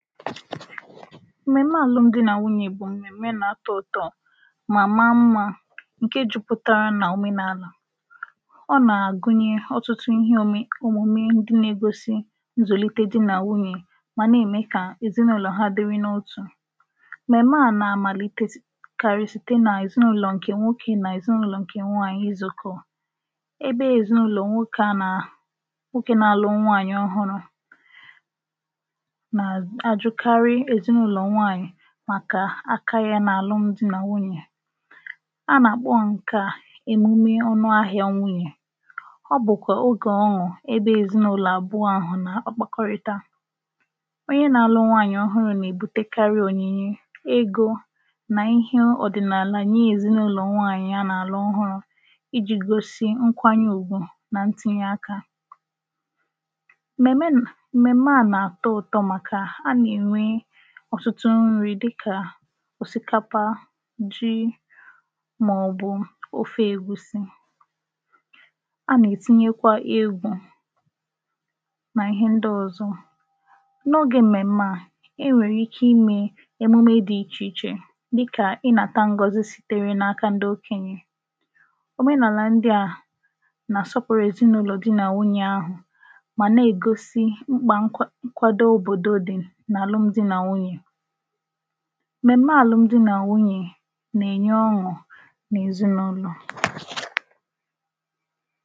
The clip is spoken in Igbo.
M̀mèm̀me àlụmdi nà nwunyè bụ̀ m̀mèm̀me na-atọ ụtọ mà ma mmā ǹke jupụtara nà òmenànà ọ nà-àgụnye ọtụtụ ihe òme òmume ndị na-egosi nzụ̀lite dị nà nwunyè mà nà-ème kà èzinụlọ̀ ha dịri n’otù m̀mèm̀me à nà-àmàlite kari site nà èzinụlọ̀ ǹkè nwokē nà èzinụlọ̀ ǹkè nwaànyị̀ izùkọ̀ ebe èzinụlọ̀ nwokē à nà nwokē na-alụ nwaànyị̀ ọhụrụ̄ nà àjụkarị èzinụlọ̀ nwaànyị̀ màkà aka yā nà àlụmdi nà nwunyè anà-àkpọ ǹkè a èmume ọnụ ahị̄a nwunyè ọ bụ̀kwà ogè ọṅụ̀ ebe èzinụlọ̀ àbụ̀ọ nà-àkpakọrịta onye na-alụ nwaànyị̀ ọhụrụ̄ nà-èbutekarị ònyìnye, egō nà ihe ọ̀dị̀nàlà nye èzinụlọ̀ nwaànyị̀ anà-àlụ ọhụrụ̄ ijī gosi nkwanye ùgwù nà ntinye akā m̀mèm̀me nà m̀mèm̀me à nà-àtọ ụtọ màkà nà anà-ènwe ọ̀tụtụ nrī dịkà òsìkapa ji màọ̀bụ̀ ofe ègusi anà-ètinyekwa egwū nà ihe ndị ọ̀zọ n’ogē m̀mèm̀me à e nwèrè ike imē emume dị ichè ichè dịkà ịnāta ngozi sitere n’aka ndị okènyè òmenàlà ndị à nà àsọpụ̀rụ èzinụlọ̀ di nà nwunyè ahụ̀ mà na-ègosi mkpà nkwà nkwado òbòdo dị nà àlụmdi nà nwunyè m̀mèm̀me àlụmdi nà nwunyè nà-ènye ọṅụ̀ n’èzinụnọ̀